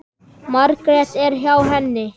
Margrét er hjá henni.